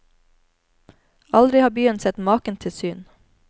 Aldri har byen sett maken til syn.